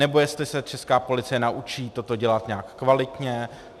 Nebo jestli se česká policie naučí toto dělat nějak kvalitně?